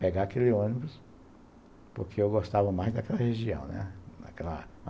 pegar aquele ônibus, porque eu gostava mais daquela região, né? Daquela